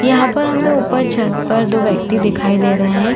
यहाँ पर हमें ऊपर छत पर दो व्यक्ति दिखाई दे रहे हैं।